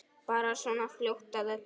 Bara svona fljót að öllu.